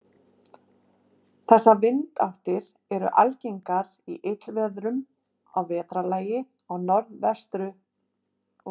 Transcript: Þessar vindáttir eru algengar í illviðrum að vetrarlagi á norðanverðu landinu.